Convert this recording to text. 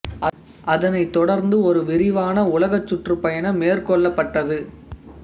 அதனைத் தொடர்ந்து ஒரு விரிவான உலகச் சுற்றுப் பயணம் மேற்கொள்ளப்பட்டது